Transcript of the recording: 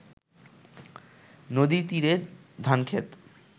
নদীর তীরে ধান ক্ষেত